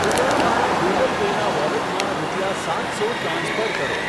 કૃપયા મારા Google Pay ના વોલેટમાં રૂપિયા સાત સો ટ્રાન્સફર કરો.